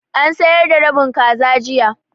An sayar da rabin kaza jiya.